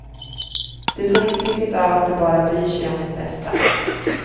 Du får intrycket av att de bara bryr sig om ditt bästa.